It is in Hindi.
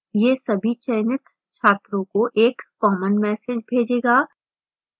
यह सभी चयनित छात्रों को एक common message भेजेगा